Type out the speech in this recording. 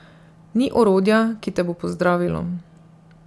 Ni orodja, ki te bo pozdravilo.